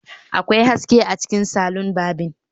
Akwai haske a cikin salon barbing